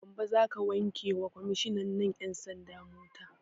Gambo za ka wanke wa kwammishinan 'yan sanda mota?